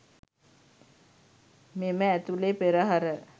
මෙම ඇතුලේ පෙරහර